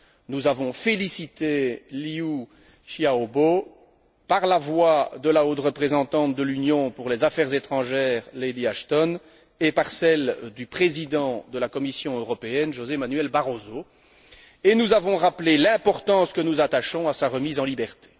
Nous avons félicité Liu Xiaobo par la voie de la haute représentante de l'Union pour les affaires étrangères, Lady Ashton, et par celle du président de la Commission européenne, José Manuel Barroso, et nous avons rappelé l'importance que nous attachons à sa remise en liberté.